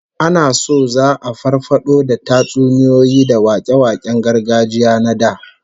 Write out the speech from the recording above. Ana so za'a farfado da tatsuniyoyi da wake-waken gargajiya na da